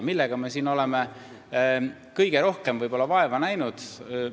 Millega me oleme kõige rohkem vaeva näinud?